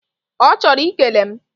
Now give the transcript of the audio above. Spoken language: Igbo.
Ochoro ikele m